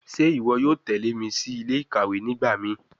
Ṣe iwọ yoo tẹle mi si ile-ikawe nigbamii?